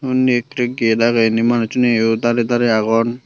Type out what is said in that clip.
unney ekke get agey inni manussuneyo darey darey agon.